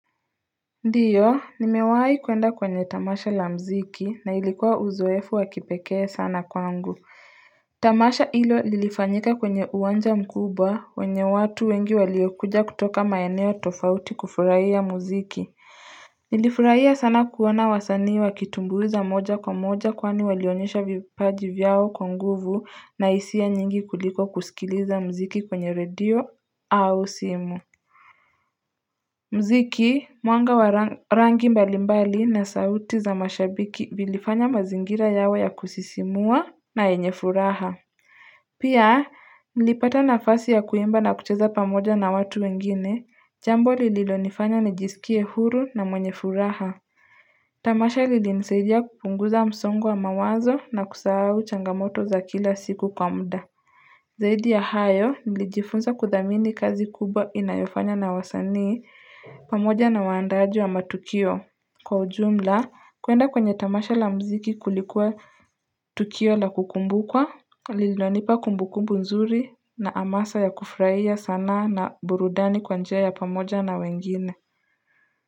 Ndiyo nimewahi kwenda kwenye tamasha la mziki na ilikuwa uzoefu wakipekee sana kwangu tamasha hilo lilifanyika kwenye uwanja mkuba kwenye watu wengi waliyokuja kutoka maeneo tofauti kufurahia muziki nilifurahia sana kuona wasanii wakitumbuiza moja kwa moja kwani walionyesha vipaji vyao kwa nguvu na hisia nyingi kuliko kusikiliza mziki kwenye radio au simu mziki, mwanga wa rangi mbalimbali na sauti za mashabiki zilifanya mazingira yawe ya kusisimua na yenye furaha Pia, nilipata nafasi ya kuimba na kucheza pamoja na watu wengine, jambo lililonifanya nijisikie huru na mwenye furaha Tamasha lilinisaidia kupunguza msongo wa mawazo na kusahau changamoto za kila siku kwa muda Zaidi ya hayo, nilijifunza kuthamini kazi kubwa inayofanywa na wasanii pamoja na waandaji wa matukio. Kwa ujumla, kuenda kwenye tamasha la mziki kulikuwa tukio la kukumbukwa lililonipa kumbukumbu nzuri na amasa ya kufurahia sanaa na burudani kwa njia ya pamoja na wengine.